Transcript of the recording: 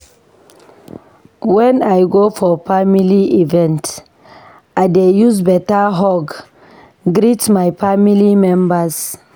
Wen I go for family event, I dey use beta hug greet my family members.